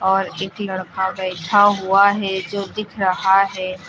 और एक लड़का बैठा हुआ है जो दिख रहा है।